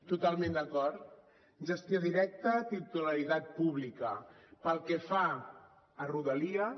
totalment d’acord gestió directa titularitat pública pel que fa a rodalies